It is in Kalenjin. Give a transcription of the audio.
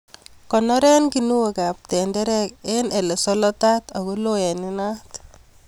Konoren kinuokab tenderek en ilesolotat ako loo en inat.